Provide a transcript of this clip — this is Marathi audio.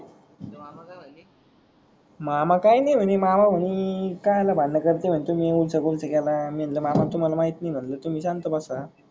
मामा काही नाही मन्हे मामा म्हणी कस्याला भांडन करते म्हणते हम्म येउडूशा गोष्टीला मी मनल मामा तुम्हाला माहित नाही मनल तुम्ही शांत बसा.